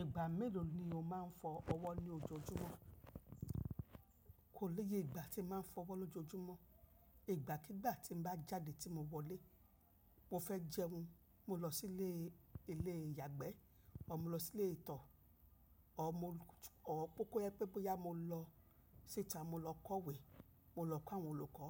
Ìgbà mélòó ni o máa ń fọ ọwọ́ ní ojoojúmọ́? Kò léye ìgbà tí mo máa ń fọ ọwọ́ lójoojúmọ́. Ìgbà kígbà tí n bá jáde tí mo wọlé, mo fẹ́ jẹun, mo lọ sí ilé, ilé ìyàgbẹ́ ọ̀ má lọ sí ilé ìtọ́ ọ̀ mo, ọ̀ pópóyẹ́ pé bóyá mo lọ síta, mo lọ kọ̀wé, mo lọ kọ́ àwọn olùkọ́,